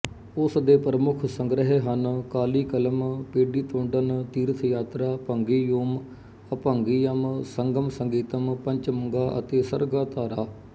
ਉਸ ਦੇ ਪ੍ਰਮੁੱਖ ਸੰਗ੍ਰਹਿ ਹਨ ਕਾਲੀਕਲਮ ਪੇਡੀਤੋਂਡਨ ਤੀਰਥਯਾਤਰਾ ਭੰਗੀਯੂਮ ਅਭੰਗੀਅਮ ਸੰਗਮਸੰਗੀਤਮ ਪਚਮੰਗਾ ਅਤੇ ਸਰਗਾ ਧਾਰਾ